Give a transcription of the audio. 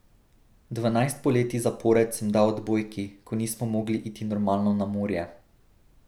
Dvanajst poletij zapored sem dal odbojki, ko nismo mogli iti normalno na morje.